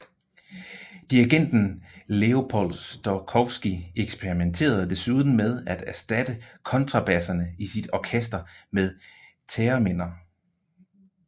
Dirigenten Leopold Stokowski eksperimenterede desuden med at erstatte kontrabasserne i sit orkester med thereminer